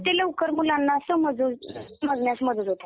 लवकर मुलांना समजण्यास मदत होते.